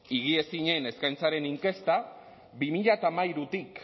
higiezinen eskaintzaren inkesta bi mila hamairutik